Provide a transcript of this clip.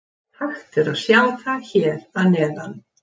Hægt er að sjá það hér að neðan.